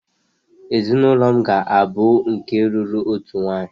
ezinụlọ m ga-abụ nke lụrụ otu nwanyị